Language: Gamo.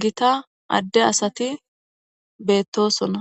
gita adde asati beettosonna